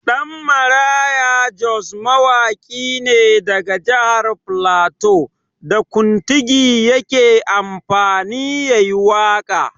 Ɗanmaraya Jos mawaƙi ne daga jahar flato, da kuntigi yake amfani ya yi waƙa.